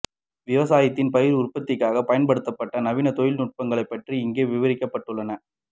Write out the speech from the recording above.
விவசாயத்தில் பயிர் உற்பத்திக்காக பயன்படுத்தப்படும் நவீன தொழில்நுட்பங்கள் பற்றி இங்கே விவரிக்கப்பட்டுள்ளன